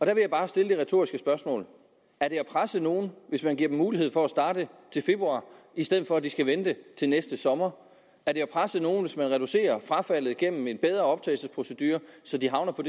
jeg bare stille det retoriske spørgsmål er det at presse nogen hvis man giver dem mulighed for at starte til februar i stedet for at de skal vente til næste sommer er det at presse nogen hvis man reducerer frafaldet gennem en bedre optagelsesprocedure så de havner på